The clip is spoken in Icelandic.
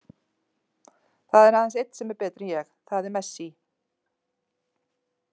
Það er aðeins einn sem er betri en ég, það er Messi.